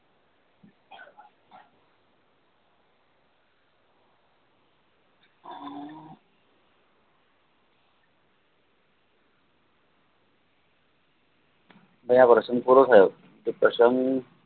એવા વર્ષની થોડો થાય